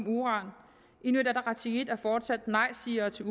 uran inuit ataqatigiit er fortsat nejsigere til